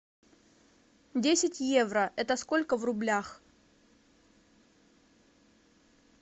десять евро это сколько в рублях